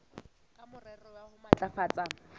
ka morero wa ho matlafatsa